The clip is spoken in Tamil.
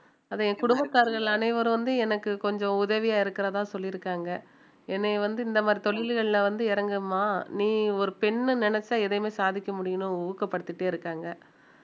அது என் குடும்பத்தார்கள் அனைவரும் வந்து எனக்கு கொஞ்சம் உதவியா இருக்கிறதா சொல்லியிருக்காங்க என்னைய வந்து இந்த மாதிரி தொழில்கள்ல வந்து இறங்கும்மா நீ ஒரு பெண் நினைச்சா எதையுமே சாதிக்க முடியும்ன்னு ஊக்கப்படுத்திட்டே இருக்காங்க